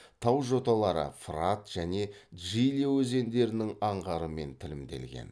тау жоталары фырат және джиле өзендерінің аңғарымен тілімделген